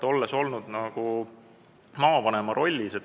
Olen olnud maavanema rollis .